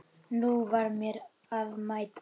Nú var mér að mæta!